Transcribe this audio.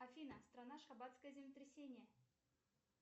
афина страна ашхабадское землетрясение